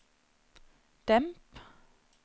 demp